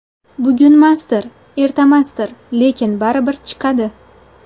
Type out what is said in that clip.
Bugunmasdir, ertamasdir, lekin baribir chiqadi.